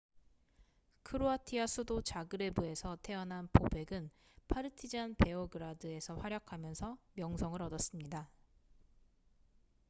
크로아티아 수도 자그레브에서 태어난 보벡은 파르티잔 베오그라드에서 활약하면서 명성을 얻었습니다